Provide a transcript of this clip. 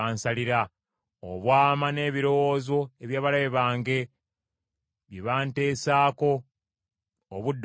obwama n’ebirowoozo eby’abalabe bange bye bantesaako obudde okuziba.